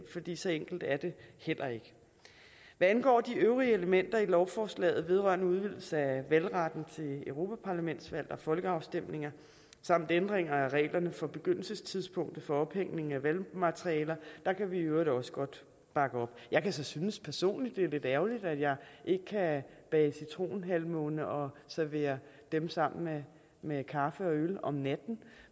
fordi så enkelt er det heller ikke hvad angår de øvrige elementer i lovforslaget vedrørende udvidelse af valgretten til europaparlamentsvalg og folkeafstemninger samt ændringer af reglerne for begyndelsestidspunktet for ophængning af valgmateriale kan vi i øvrigt også godt bakke op jeg kan så synes personligt at det er lidt ærgerligt at jeg ikke kan bage citronhalvmåner og servere dem sammen med kaffe og øl om natten